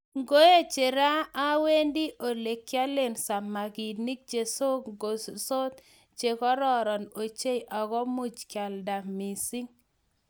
Ngoeche raa, awendi olegiale samaginik chesogorsot chegororon ochei ako much kealda mising